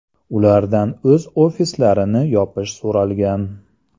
Ulardan o‘z ofislarini yopish so‘ralgan.